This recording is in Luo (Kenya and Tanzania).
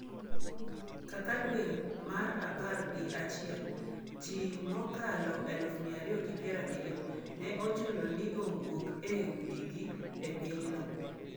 Kaka dwe mar apar gi achiel, ji mokalo 270,000 ne ochuno ni owuok e udigi e pinyno.